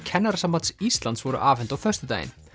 Kennarasambands Íslands voru afhent á föstudaginn